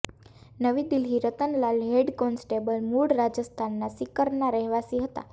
નવી Delhi Ratanlal head constable મૂળ રાજસ્થાનના સિકરના રહેવાસી હતા